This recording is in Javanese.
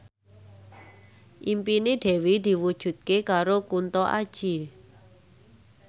impine Dewi diwujudke karo Kunto Aji